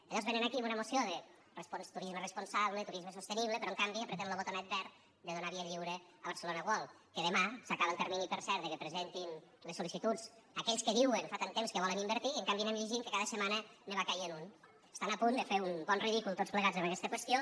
llavors venen aquí amb una moció de turisme responsable turisme sostenible però en canvi premen lo botonet verd de donar via lliure a barcelona world que demà s’acaba el termini per cert perquè presentin les sol·licituds aquells que diuen fa tant de temps que hi volen invertir i en canvi anem llegint que cada setmana en va caient un estan a punt de fer un bon ridícul tots plegats en aquesta qüestió